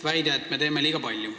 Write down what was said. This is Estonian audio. Väidetakse, et me teeme liiga palju.